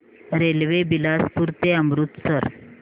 railway Bilaspur ते अमृतसर